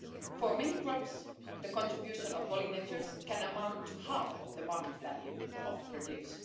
For many crops, the contribution of pollinators can amount to half of the market value of the produce.